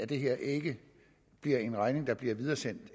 det her ikke bliver en regning der bliver videresendt